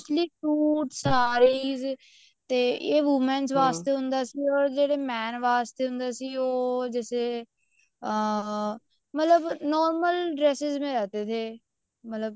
suit sari ਇਹ women ਵਾਸਤੇ ਹੁੰਦਾ ਸੀਗਾ ਹੋਰ ਜਿਹੜਾ man ਵਾਸਤੇ ਹੁੰਦਾ ਸੀਗਾ ਉਹ ਜੈਸੇ ਅਮ ਮਤਲਬ normal dresses ਮੈਂ ਰਹਿਤੇ ਥੇ ਮਤਲਬ